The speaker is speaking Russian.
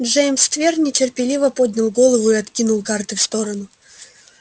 джеймс твер нетерпеливо поднял голову и откинул карты в сторону